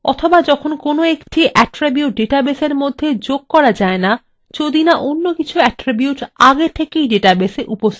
অথবা যখন কোনো একটি attribute ডাটাবেসের মধ্যে যোগ করা যায় না যদি না অন্য কিছু attricute আগে থেকে ডেটাবেসএ উপস্থিত থাকে